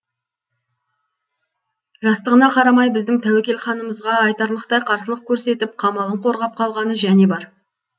жастығына қарамай біздің тәуекел ханымызға айтарлықтай қарсылық көрсетіп қамалын қорғап қалғаны және бар